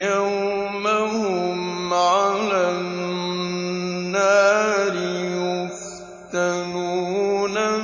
يَوْمَ هُمْ عَلَى النَّارِ يُفْتَنُونَ